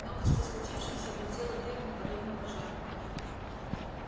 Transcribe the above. новость о случившемся облетела ферму подобно пожару